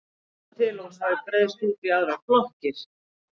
Ekki er vitað til að hún hafi breiðst út í aðrar blokkir.